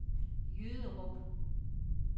Jyderup